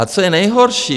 A co je nejhorší?